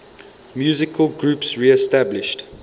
musical groups reestablished